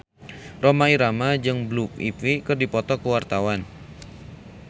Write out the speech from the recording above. Rhoma Irama jeung Blue Ivy keur dipoto ku wartawan